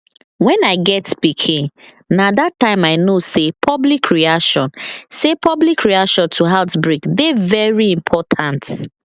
when i get pikinna that time i know say public reaction say public reaction to outbreak dey very important